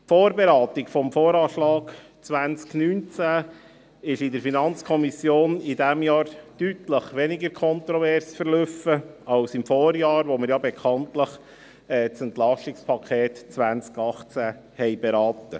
Die Vorberatung des VA 2019 in der FiKo verlief in diesem Jahr deutlich weniger kontrovers als im Vorjahr, als wir bekanntlich das Entlastungspaket (EP) 2018 berieten.